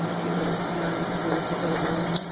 खुला है दो शटर बंद है।